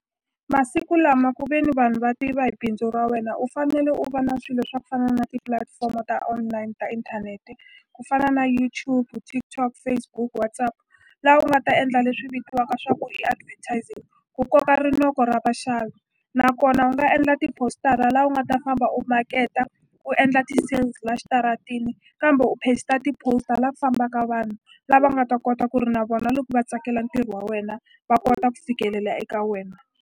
Masiku lama ku veni vanhu va tiva hi bindzu ra wena u fanele u va na swilo swa ku fana na tipulatifomo ta online ta inthanete ku fana na YouTube, TikTok, Facebook, WhatsApp la u nga ta endla leswi vitiwaka swa ku i advertising ku koka rinoko ra vaxavi nakona u nga endla tipositara la u nga ta famba u maketa u endla ti cells la xitaratini kambe u paster ti-poster la ku fambaka vanhu lava nga ta kota ku ri na vona loko va tsakela ntirho wa wena va kota ku fikelela eka wena.